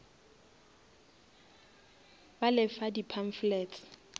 ba le fa di pamphlets